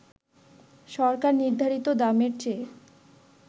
সরকার নির্ধারিত দামের চেয়ে